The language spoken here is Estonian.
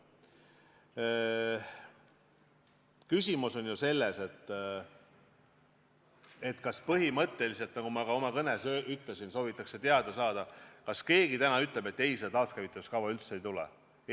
Küsimus on selles, kas põhimõtteliselt, nagu ma oma kõnes ütlesin, soovitakse teada saada, kas keegi täna ütleb, et ei, seda taaskäivitamise kava üldse ei tule.